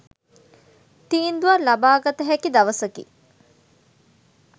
තීන්දුවක් ලබාගත හැකි දවසකි